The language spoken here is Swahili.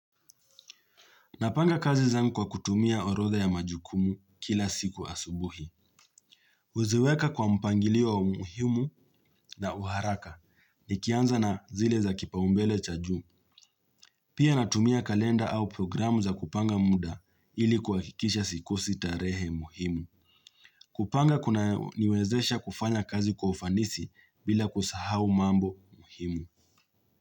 Napanga kazi zangu kwa kutumia orodha ya majukumu kila siku asubuhi. Huziweka kwa mpangilio wa umuhimu na uharaka nikianza na zile za kipaumbele cha juu. Pia natumia kalenda au programu za kupanga muda ili kihakikisha sikosi tarehe muhimu. Kupanga kunaniwezesha kufanya kazi kwa ufanisi bila kusahau mambo muhimu.